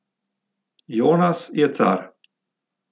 Jonas je car!